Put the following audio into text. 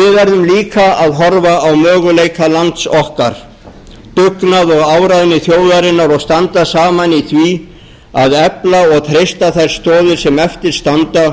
við verðum líka að horfa á möguleika lands okkar dugnað og áræði þjóðarinnar og standa saman í því að efla og treysta þær stoðir sem eftir standa